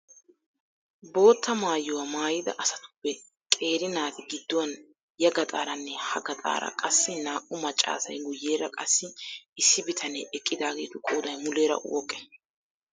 Bootta maayuwaa maayida asatuppe qeeri naati gidduwan ya gaxaaranne ha gaxaara qassi naa"u maccaasay guyyeera qassi issi bitanee eqqidaageetu qooday muleera woqqee?